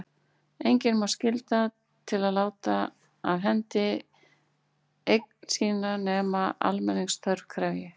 Engan má skylda til að láta af hendi eign sína nema almenningsþörf krefji.